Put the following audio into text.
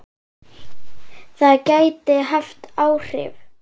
Það gæti haft áhrif.